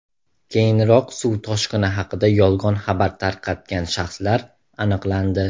Keyinroq suv toshqini haqida yolg‘on xabar tarqatgan shaxslar aniqlandi .